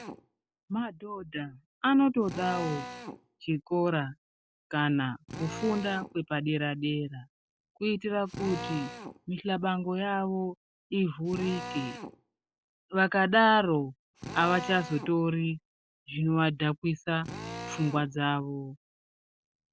Madhodha anotodawo chikora kana kufunda kwepadera dera kuitira kuti muhlabango yawo ivhurike vakadaro avachazotori zvinoadhakwisa pfungwa dzawo.